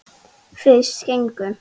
Fyrst gengu